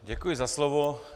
Děkuji za slovo.